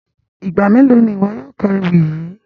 Igba melo ni iwọ yóò ka ewi yii?